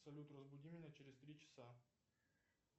салют разбуди меня через три часа